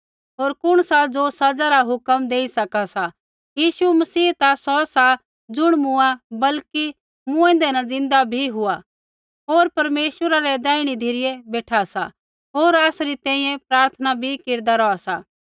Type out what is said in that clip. होर कुण सा ज़ो सज़ा रा हुक्म देई सका सा यीशु मसीह ता सौ सा ज़ुण मूँआ बल्कि मूँएंदै न ज़िन्दा भी हुआ होर परमेश्वरा रै दैहिणै धिरै बेठा सा होर आसरी तैंईंयैं प्रार्थना बी केरदा रौहा सा